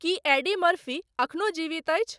की Eddie Murphy एखनो जीवित अछि